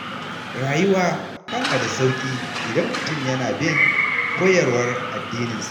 Rayuwa tana da sauƙi idan mutum yana bin koyarwar addininsa